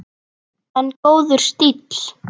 En góður stíll!